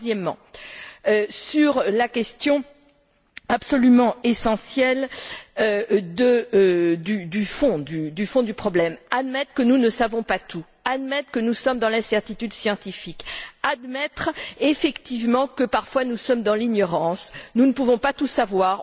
Troisièmement, sur la question absolument essentielle du fond du problème, il nous faut admettre que nous ne savons pas tout, admettre que nous sommes dans l'incertitude scientifique, admettre effectivement que, parfois, nous sommes dans l'ignorance. Nous ne pouvons pas tout savoir.